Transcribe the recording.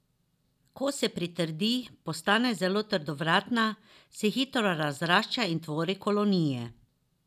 Ko se pritrdi, postane zelo trdovratna, se hitro razrašča in tvori kolonije.